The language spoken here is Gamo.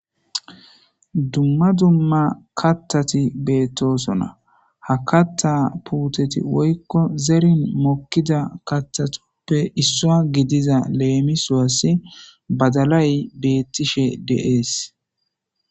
Dumma dumma kattati beettosona ha katta puuteti woykko zerin mokkida kattatoppe issua gidiza leemisuwasi badalay beettishe deees